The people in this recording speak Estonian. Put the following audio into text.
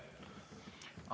Aitäh!